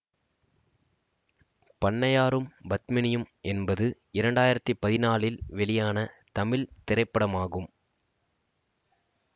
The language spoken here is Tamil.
பண்ணையாரும் பத்மினியும் என்பது இரண்டு ஆயிரத்தி பதிநாளில் வெளியான தமிழ் திரைப்படமாகும்